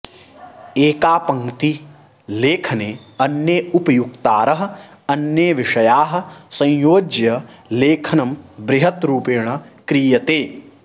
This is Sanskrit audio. एका पङ्क्ति लेखने अन्ये उपयुक्तारः अन्ये विषयाः संयोज्य लेखनं बृहत् रूपेण क्रियते